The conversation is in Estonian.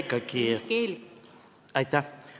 Aitäh!